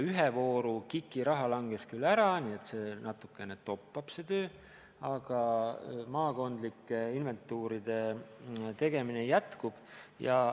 Ühe vooru KIK-i raha langes küll ära, nii et natukene toppab see töö, aga maakondlike inventuuride tegemine jätkub.